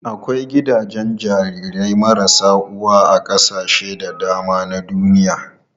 Akwai gidajen jarirai marasa uwa a kasashe da dama na duniya.